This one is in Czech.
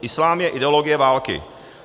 Islám je ideologie války.